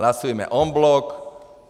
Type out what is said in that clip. Hlasujme en bloc.